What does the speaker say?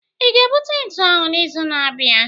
ị ga-ebute ntu ahu n'izu na-abịa?